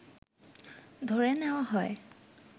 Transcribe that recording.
ধরে নেয়া হয়